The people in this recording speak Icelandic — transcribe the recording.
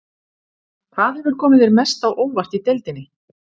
Hvað hefur komið þér mest á óvart í deildinni?